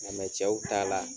mɛ cɛw ta la